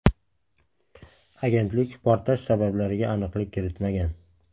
Agentlik portlash sabablariga aniqlik kiritmagan.